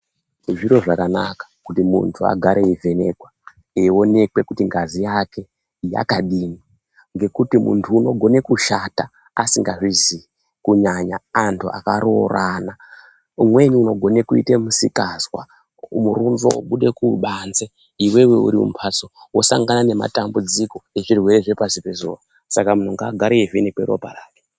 Zviro zvakanaka kuti muntu agare eivhenekwa eionekwe kuti ngazi yake yakadini ngekuti muntu unogone kushata asingazvizivi kunyanya antu akaroorana umweni unogone kuite musikazwa murunzo wobude kubanzi iwewe uri mumhatso wosangana nematambudziko ezvirwere zvepasi pezuva saka muntu ngaagare eivhenekwa ropa rake